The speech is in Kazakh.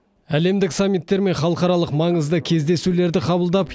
әлемдік саммиттер мен халықаралық маңызды кездесулерді қабылдап